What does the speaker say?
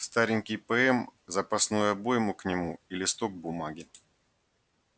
старенький пм запасную обойму к нему и листок бумаги